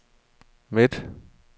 midte